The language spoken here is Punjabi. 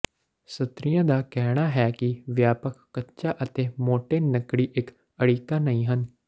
ਸਤਰੀਆਂ ਦਾ ਕਹਿਣਾ ਹੈ ਕਿ ਵਿਆਪਕ ਕੱਚਾ ਅਤੇ ਮੋਟੇ ਨੱਕੜੀ ਇੱਕ ਅੜਿੱਕਾ ਨਹੀਂ ਹਨ